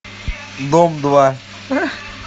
дом два